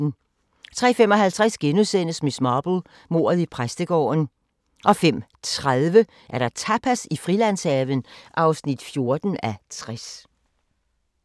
03:55: Miss Marple: Mordet i præstegården * 05:30: Tapas i Frilandshaven (14:60)